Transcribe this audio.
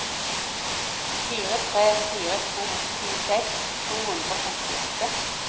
fire tre fire to tjueseks to hundre og femtiåtte